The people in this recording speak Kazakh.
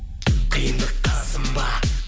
қиындыққа сынба